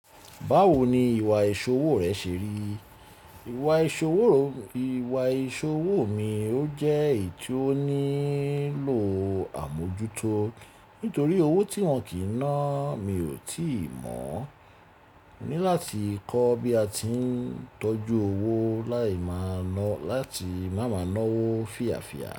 Báwo ni ìwà ìṣòwò rẹ ṣe rí? Ìwà ìṣòwò, ìwà ìṣòwò mi ó jẹ́ èyí tí ó nílò àmójútó. Nítorí owó tí wọ́n kì í ná mi ò tí ì mọ̀ ọ́n. Mo ní láti kọ́ bí a ti ń tọ́jú owó láti má máa ná owó fìyàfìyà.